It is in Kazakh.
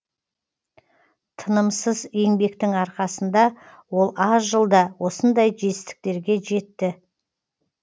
тынымсыз еңбектің арқасында ол аз жылда осындай жетістіктерге жетті